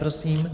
Prosím.